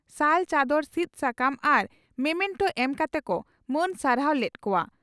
ᱥᱟᱞ ᱪᱟᱫᱚᱱ ᱥᱤᱫᱽ ᱥᱟᱠᱟᱢ ᱟᱨ ᱢᱚᱢᱮᱱᱴᱚ ᱮᱢ ᱠᱟᱛᱮ ᱠᱚ ᱢᱟᱹᱱ ᱥᱟᱨᱦᱟᱣ ᱞᱮᱫ ᱠᱚᱜᱼᱟ ᱾